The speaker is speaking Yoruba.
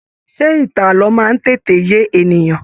Ṣe ìtàn ààlọ́ máa n tètè yé ènìyàn?